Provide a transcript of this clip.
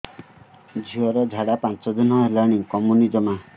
ଝିଅର ଝାଡା ପାଞ୍ଚ ଦିନ ହେଲାଣି କମୁନି ଜମା